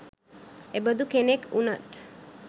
එබඳු කෙනෙක් වුනත්